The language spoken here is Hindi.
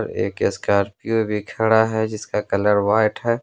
एक स्कॉर्पियो भी खड़ा है जिसका कलर व्हाइट है।